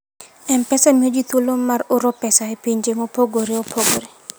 M-Pesa miyo ji thuolo mar oro pesa e pinje mopogore opogore.